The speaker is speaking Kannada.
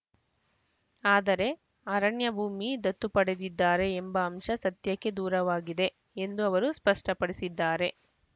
ಆದರೆ ಅರಣ್ಯ ಭೂಮಿ ದತ್ತು ಪಡೆದಿದ್ದಾರೆ ಎಂಬ ಅಂಶ ಸತ್ಯಕ್ಕೆ ದೂರವಾಗಿದೆ ಎಂದು ಅವರು ಸ್ಪಷ್ಟಪಡಿಸಿದ್ದಾರೆ